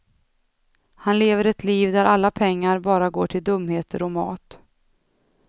Han lever ett liv där alla pengar bara går till dumheter och mat.